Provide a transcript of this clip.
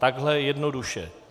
Takhle jednoduše.